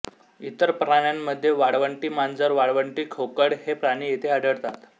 इतर प्राण्यांमध्ये वाळवंटी मांजर वाळवंटी खोकड हे प्राणी येथे आढळतात